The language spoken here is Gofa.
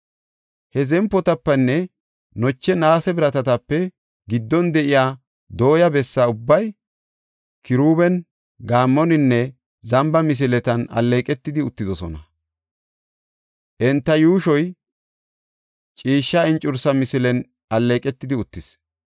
Ha zempotapenne loche naase biratatape giddon de7iya dooya bessa ubbay kiruuben, gaammoninne zamba misileten alleeqetidi uttidosona; enta yuushoy ciishsha encursa misilen alleeqetidi uttis.